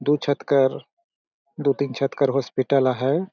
दु छत कर दु तीन छत कर हॉस्पिटल आहाय।